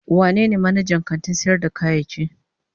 Wanene manajan kantin sayar da kayayyaki?